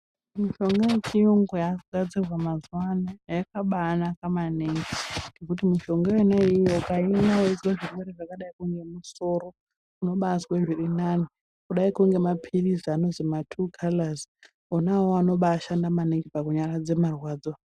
Mishonga yechiyungu yakugadzirwa mazuwano yakabanaka maningi ngekuti mishonga yonaiyoyo ukaimwa weizwa zvirwere zvakadai ngemusoro unobazwe zvirinani kudaiko ngemaphirizi anozwi ma tuukalazi onaawawo anobashanda maningi pakunyaradza marwadzo.